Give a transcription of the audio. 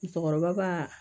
Musokɔrɔba ba